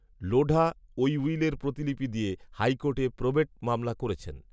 লোঢা ওই উইলের প্রতিলিপি দিয়ে হাইকোর্টে প্রবেট মামলা করেছেন